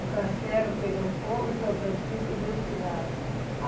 O castelo pegou fogo e São Francisco deu sinal.